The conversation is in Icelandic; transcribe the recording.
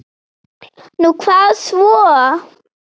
Nú, hvað svo?